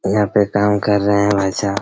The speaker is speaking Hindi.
यहाँ पे काम कर रहे हैं भाईसाहब